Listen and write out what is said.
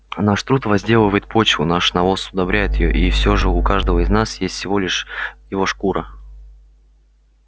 наш труд возделывает почву наш навоз удобряет её и все же у каждого из нас есть всего лишь его шкура